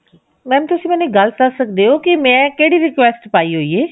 madam ਤੁਸੀਂ ਮੈਨੂੰ ਇੱਕ ਗੱਲ ਦੱਸ ਸਕਦੇ ਹੋ ਕਿ ਮੈਂ ਕਿਹੜੀ request ਪਾਈ ਹੋਈ ਹੈ